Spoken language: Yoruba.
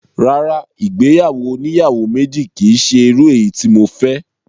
Rárá, ìgbéyàwó oníyàwó méjì kìí ṣe irú eyi tí mo fẹ́